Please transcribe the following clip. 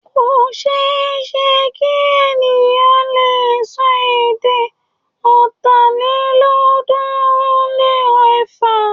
Kò ṣe é ṣe kí ènìyàn le sọ èdè Ọ̀tàlélọ́ọ̀ọ́dúnrún-lé-ẹ̀fà.